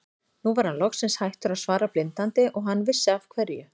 Nú var hann loksins hættur að svara blindandi og hann vissi af hverju.